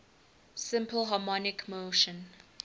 simple harmonic motion